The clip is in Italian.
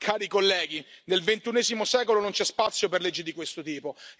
Cari colleghi, nel XXI secolo non c'è spazio per leggi di questo tipo.